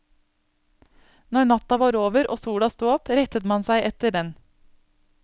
Når natta var over, og sola stod opp, rettet man seg etter den.